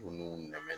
U n'u nɛmɛ